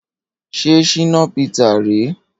Ṣé Shina Peter rèé?